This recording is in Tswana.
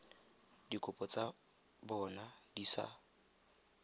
dikopo tsa bona di sa